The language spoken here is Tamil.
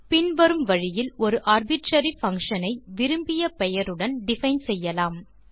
பின்வரும் வழியில் ஒரு ஆர்பிட்ரரி பங்ஷன் ஐ விரும்பிய பெயருடன் டிஃபைன் செய்யலாம்